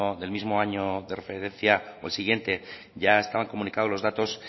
del mismo año de referencia o el siguiente ya estaban comunicados los datos